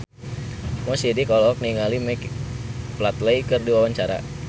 Mo Sidik olohok ningali Michael Flatley keur diwawancara